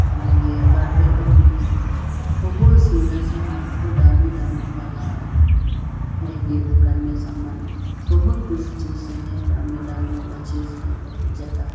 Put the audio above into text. और ये कारपेट भी है बहुत सुंदर से है बहोत डामी डामी वाला है ये दुकान में सामान बहुत कुछ चीजे है डामी डामी वाला चीज है बहुत ज्यादा है।